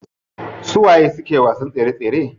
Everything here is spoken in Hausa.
Su waye suke wasa tsere tsere?